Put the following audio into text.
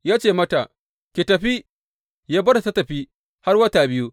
Ya ce mata, Ki tafi, Ya bar ta tă tafi har wata biyu.